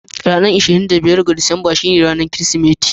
Ranar 25 ga Disamba ita ce ranar Kirsimeti.